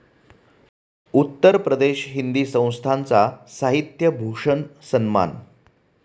उत्तर प्रदेश हिंदी संस्थान 'चा साहित्य भूषण सन्मान